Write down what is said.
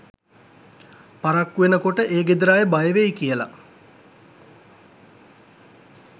පරක්කු වෙනකොට ඒ ගෙදර අය බයවෙයි කියල.